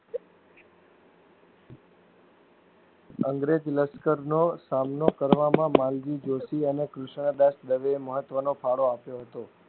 અંગ્રેજ લશ્કરનો સામનો કરવામાં માલજી જોશી અને કૃષ્ણ દાસ દવે મહત્વનો ફાળો આપ્યો હતો.